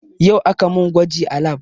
Yau aka mun gwaji a lab